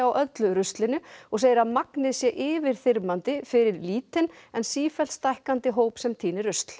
öllu ruslinu og segir að magnið sé yfirþyrmandi fyrir lítinn en sífellt stækkandi hóp sem tínir rusl